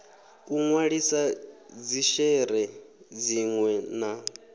u nwalisa dzishere dzinwe na